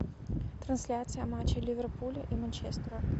трансляция матча ливерпуля и манчестера